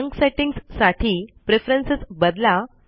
junk settings साठी preference बदला